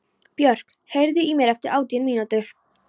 Björk, heyrðu í mér eftir átján mínútur.